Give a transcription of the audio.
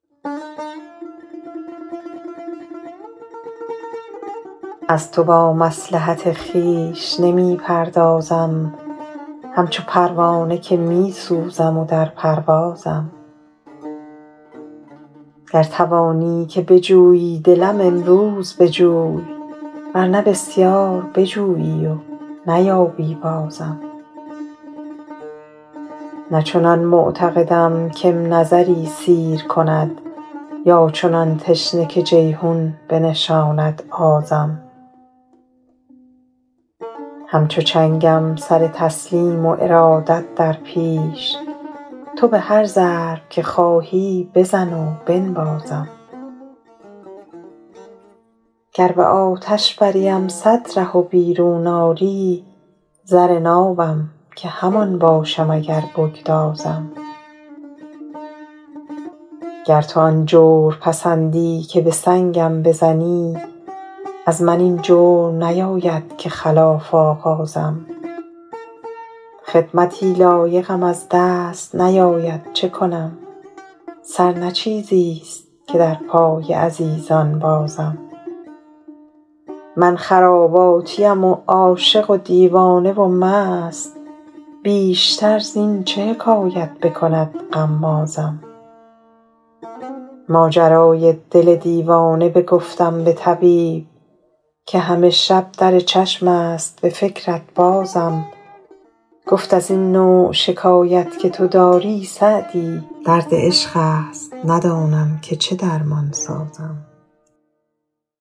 از تو با مصلحت خویش نمی پردازم همچو پروانه که می سوزم و در پروازم گر توانی که بجویی دلم امروز بجوی ور نه بسیار بجویی و نیابی بازم نه چنان معتقدم که م نظری سیر کند یا چنان تشنه که جیحون بنشاند آزم همچو چنگم سر تسلیم و ارادت در پیش تو به هر ضرب که خواهی بزن و بنوازم گر به آتش بریم صد ره و بیرون آری زر نابم که همان باشم اگر بگدازم گر تو آن جور پسندی که به سنگم بزنی از من این جرم نیاید که خلاف آغازم خدمتی لایقم از دست نیاید چه کنم سر نه چیزیست که در پای عزیزان بازم من خراباتیم و عاشق و دیوانه و مست بیشتر زین چه حکایت بکند غمازم ماجرای دل دیوانه بگفتم به طبیب که همه شب در چشم است به فکرت بازم گفت از این نوع شکایت که تو داری سعدی درد عشق است ندانم که چه درمان سازم